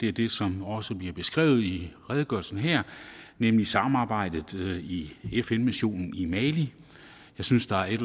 er det som også bliver beskrevet i redegørelsen her nemlig samarbejdet i fn missionen i mali jeg synes der er et